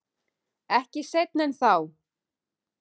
Ekki seinna en þá.